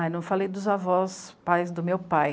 Ah, não falei dos avós, pais do meu pai.